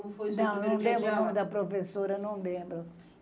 Não lembro o nome da professora, não lembro.